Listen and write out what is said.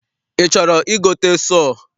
I chọrọ igote sọọ?